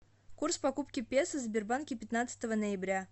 курс покупки песо в сбербанке пятнадцатого ноября